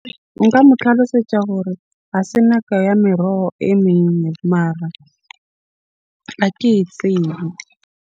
Nka mo tlhalosetsa hore ha se nako ya meroho e . Mara ha ke e tsebe.